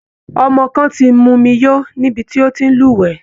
Ọmọ kan ti mumi yó nibi tó ti ń lúwẹ̀ẹ́